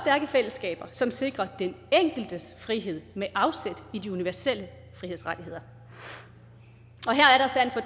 fællesskaber som sikrer den enkeltes frihed med afsæt i de universelle frihedsrettigheder og